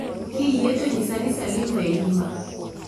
Kiyie to nyisa ni Salim be ngima